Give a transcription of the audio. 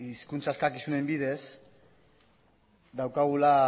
hizkuntza eskakizunez bidez daukagula